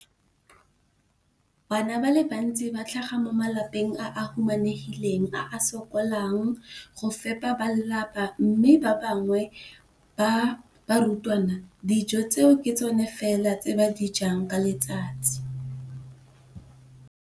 Bana ba le bantsi ba tlhaga mo malapeng a a humanegileng a a sokolang go ka fepa ba lelapa mme ba bangwe ba barutwana, dijo tseo ke tsona fela tse ba di jang ka letsatsi.